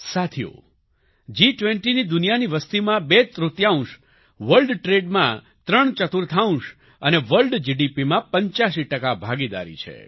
સાથીઓ જી20ની દુનિયાની વસતીમાં બે તૃતિયાંશ વર્લ્ડ ટ્રેડમાં ત્રણ ચતુર્થાંશ અને વર્લ્ડ જીડીપીમાં 85 ટકા ભાગીદારી છે